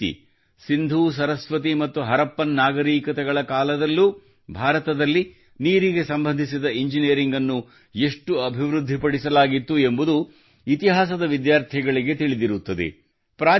ಅದೇ ರೀತಿ ಸಿಂಧೂಸರಸ್ವತಿ ಮತ್ತು ಹರಪ್ಪನ್ ನಾಗರಿಕತೆಗಳ ಕಾಲದಲ್ಲೂ ಭಾರತದಲ್ಲಿ ನೀರಿಗೆ ಸಂಬಂಧಿಸಿದ ಇಂಜಿನಿಯರಿಂಗ್ ಅನ್ನು ಎಷ್ಟು ಅಭಿವೃದ್ಧಿಪಡಿಸಲಾಗಿತ್ತು ಎಂಬುದು ಇತಿಹಾಸದ ವಿದ್ಯಾರ್ಥಿಗಳಿಗೆ ತಿಳಿದಿರುತ್ತದೆ